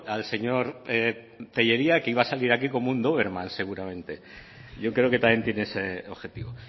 al señor tellería que iba a salir aquí como un duerman seguramente yo creo que también tiene ese objetivo